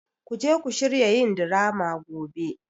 Ku je ku shirya yin drama gobe!